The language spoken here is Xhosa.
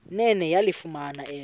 nene yalifumana elo